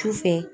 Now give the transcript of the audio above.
Su fɛ